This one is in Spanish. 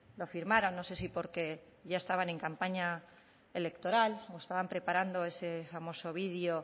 lo firmaron no sé si porque ya estaban en campaña electoral o estaban preparando ese famoso vídeo